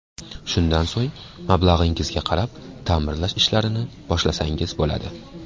Shundan so‘ng mablag‘ingizga qarab ta’mirlash ishlarini boshlasangiz bo‘ladi.